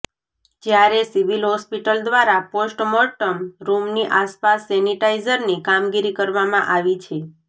જ્યારે civil hospital દ્વારા postmortem રૂમની આસપાસ સેનિટાઇઝની કામગીરી કરવામાં આવી છે